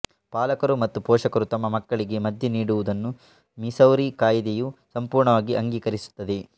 ಪಾಲಕರು ಮತ್ತು ಪೋಷಕರು ತಮ್ಮ ಮಕ್ಕಳಿಗೆ ಮದ್ಯ ನೀಡುವುದನ್ನು ಮಿಸೌರಿ ಕಾಯಿದೆಯು ಸಂಪೂರ್ಣವಾಗಿ ಅಂಗೀಕರಿಸುತ್ತದೆ